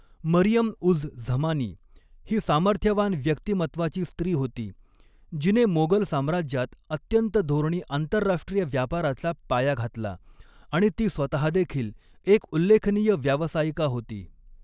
मरियम उझ झमानी ही सामर्थ्यवान व्यक्तिमत्त्वाची स्त्री होती, जिने मोगल साम्राज्यात अत्यंत धोरणी आंतरराष्ट्रीय व्यापाराचा पाया घातला आणि ती स्वतहादेखील एक उल्लेखनीय व्यावसायिका होती.